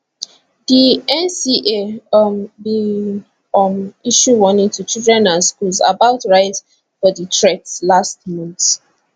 di nca um bin um issue warning to children and schools about rise for di threats last month